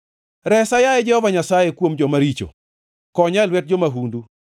Resa, yaye Jehova Nyasaye, kuom joma richo, konya e lwet jo-mahundu,